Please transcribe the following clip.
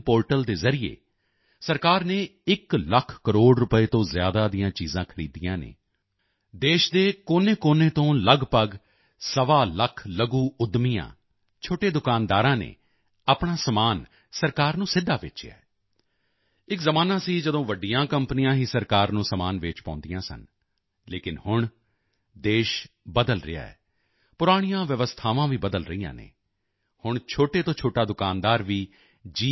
portal ਦੇ ਜ਼ਰੀਏ ਸਰਕਾਰ ਨੇ ਇੱਕ ਲੱਖ ਕਰੋੜ ਰੁਪਏ ਤੋਂ ਜ਼ਿਆਦਾ ਦੀਆਂ ਚੀਜ਼ਾਂ ਖਰੀਦੀਆਂ ਹਨ ਦੇਸ਼ ਦੇ ਕੋਨੇਕੋਨੇ ਤੋਂ ਲਗਭਗ ਸਵਾ ਲੱਖ ਲਘੂ ਉੱਦਮੀਆਂ ਛੋਟੇ ਦੁਕਾਨਦਾਰਾਂ ਨੇ ਆਪਣਾ ਸਮਾਨ ਸਰਕਾਰ ਨੂੰ ਸਿੱਧਾ ਵੇਚਿਆ ਹੈ ਇੱਕ ਜ਼ਮਾਨਾ ਸੀ ਜਦੋਂ ਵੱਡੀਆਂ ਕੰਪਨੀਆਂ ਹੀ ਸਰਕਾਰ ਨੂੰ ਸਮਾਨ ਵੇਚ ਪਾਉਂਦੀਆਂ ਸਨ ਲੇਕਿਨ ਹੁਣ ਦੇਸ਼ ਬਦਲ ਰਿਹਾ ਹੈ ਪੁਰਾਣੀਆਂ ਵਿਵਸਥਾਵਾਂ ਵੀ ਬਦਲ ਰਹੀਆਂ ਹਨ ਹੁਣ ਛੋਟੇ ਤੋਂ ਛੋਟਾ ਦੁਕਾਨਦਾਰ ਵੀ ਜੀ